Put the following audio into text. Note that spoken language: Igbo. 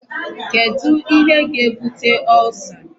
Kedu ihe ga-ebute Ulcer?